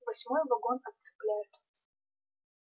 восьмой вагон отцепляют